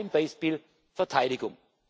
Ein Beispiel Verteidigung.